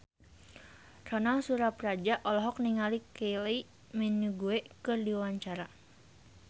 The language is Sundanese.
Ronal Surapradja olohok ningali Kylie Minogue keur diwawancara